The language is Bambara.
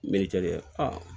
N bɛ cakɛda